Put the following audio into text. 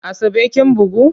Asabe kin bugu?